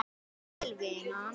Sæl, vinan.